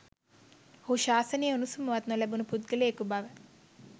ඔහු ශාසනයේ උණුසුමවත් නොලැබුණ පුද්ගලයකු බව